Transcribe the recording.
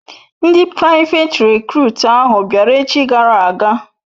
Ndi privet recrut ahu biara echi gara aga